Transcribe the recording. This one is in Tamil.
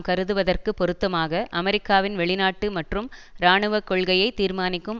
கருதுவதற்குப் பொருத்தமாக அமெரிக்காவின் வெளிநாட்டு மற்றும் இராணுவ கொள்கையை தீர்மானிக்கும்